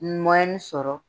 sɔrɔ